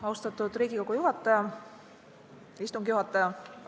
Austatud Riigikogu istungi juhataja!